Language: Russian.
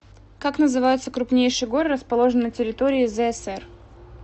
как называются крупнейшие горы расположенные на территории зсэр